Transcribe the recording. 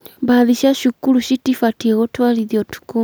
bathi cia cukuru citibatiĩ gũtwarithio ũtũkũ.